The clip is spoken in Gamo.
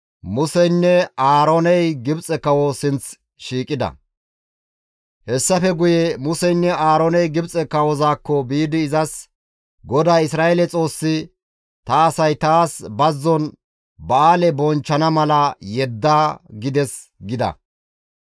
Hessafe guye Museynne Aarooney Gibxe kawozaakko biidi izas, «GODAY, Isra7eele Xoossi, ‹Ta asay taas bazzon ba7aale bonchchana mala yedda› gides» gida.